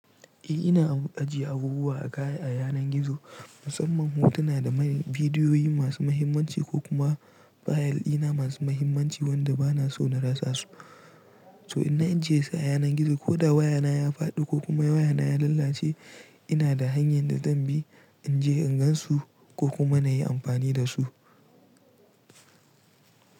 Eh ina ajiye abubuwa a kaya a yanar gizo, musamman hotuna da vidiyoyi masu mahimmanci ko kuma fayil ina masu mahimmanci wanda ba na so na rasa su. To in na ajiye su a yanar gizo ko da wayana ya fadi ko kuma wayana ya lalace ina da hanyar da zan bi in je in gan su ko kuma na yi amfani da su.